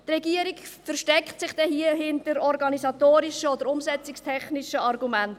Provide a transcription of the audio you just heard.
Die Regierung versteckt sich dann hier hinter organisatorischen oder umsetzungstechnischen Argumenten.